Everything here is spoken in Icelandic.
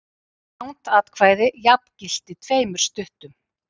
Langt atkvæði jafngilti tveimur stuttum.